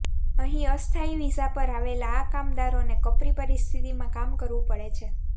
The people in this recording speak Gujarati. અહીં અસ્થાયી વિઝા પર આવેલા આ કામદારોને કપરી પરિસ્થિતિમાં કામ કરવું પડે છે